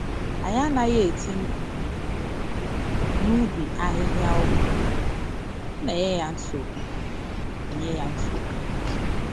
Anyị anaghị eti mkpu n’ubi ahịhịa ọgwụ, ọ na enye ya nsogbu. enye ya nsogbu.